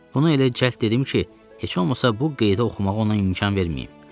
Bunu elə cəld dedim ki, heç olmasa bu qeydə oxumağa ona imkan verməyim.